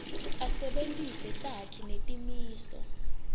asebentise takhi netimiso